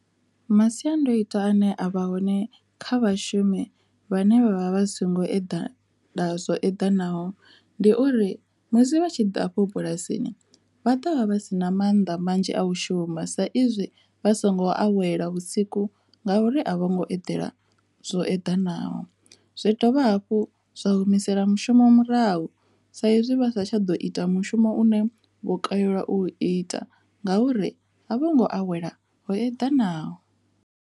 Masiandoitwa ane a vha hone kha vhashumi vhane vhavha vha songo eḓana zwo eḓanaho ndi uri musi vha tshi ḓa a fho bulasini vha ṱavha vha si na mannḓa manzhi a u shuma saizwi vha songo awela vhusiku ngauri a vho ngo eḓela zwo eḓanaho, zwi dovha hafhu zwa u humisela mushumo murahu saizwi vha sa tsha ḓo ita mushumo une vho kalelwa u ita ngauri a vho ngo awela zwo eḓanaho.